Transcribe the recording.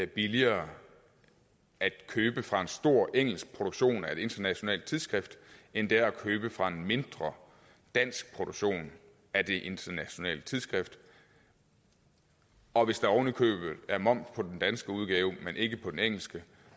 billigere at købe fra en stor engelsk produktion af et internationalt tidsskrift end det er at købe fra en mindre dansk produktion af et internationalt tidsskrift og hvis der oven i købet er moms på den danske udgave men ikke på den engelske